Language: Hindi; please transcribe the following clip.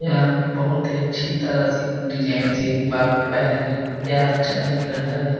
यह बहुत ही अच्छी तरह से डिजाइन से बाल कटवाया है यह अच्छा दिख रहा है।